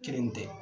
Kelen tɛ